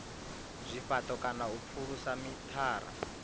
zwifhato kana u pfulusa mithara